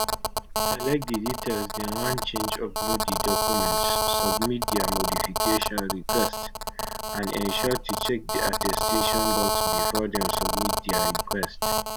select di details dem wan change upload di documents submit dia modification request and ensure to check di attestation box bifor dem submit dia request